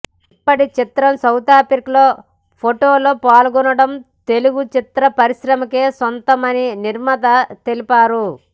ఇప్పుడీ చిత్రం సౌతాఫ్రికాలో పోటీలో పాల్గొనడం తెలుగు చిత్ర పరిశ్రమకే సంతోషమని నిర్మాత తెలిపారు